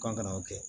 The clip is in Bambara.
Kan ka o kɛ